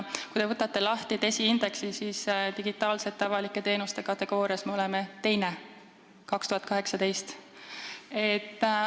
Kui te võtate lahti DESI indeksi, siis näete, et 2018. aastal me oleme digitaalsete avalike teenuste kategoorias teised.